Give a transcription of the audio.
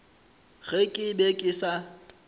ge ke be ke sa